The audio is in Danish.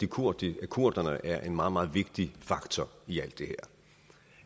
kurderne kurderne er en meget meget vigtig faktor i alt det her